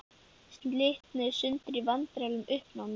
Slitnuðu í sundur í vandræðalegu uppnámi.